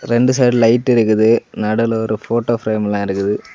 இரண்டு side light இருக்குது நடுவுல ஒரு போட்டோ பிரேம்லா இருக்குது.